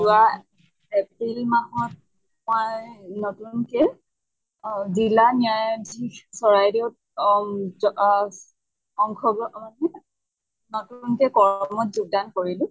যোৱা april মাহত পাই নতুনকে জিলা ন্য়ায়াধিস চৰাইদেউ অম আংশ গ্ৰহন যোগ্দান কৰিলোঁ।